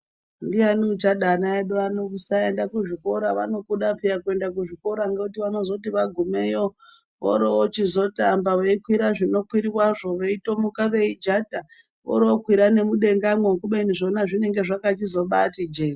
Ndiani uchada ana edu ano kusaenda kuzvikora vanokuda paa kuenda kuzvikora ngoti vanozoti vagumeyo vorovochizotamba Veikwira zvinokwirwazvo veitomuka veijata vorokwira nemudengamwo kubeni zvona zvinenge zvakachizobazoti jee.